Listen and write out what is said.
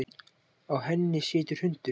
Á henni situr hundur.